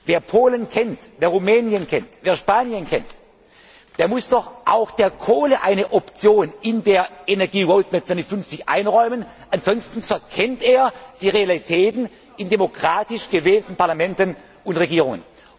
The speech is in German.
Wer Polen, Rumänien oder Spanien kennt, der muss doch auch der Kohle eine Option in der Energie Roadmap 2050 einräumen, ansonsten verkennt er die Realitäten in demokratisch gewählten Parlamenten und Regierungen.